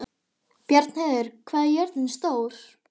Bjarnheiður, hvað er jörðin stór?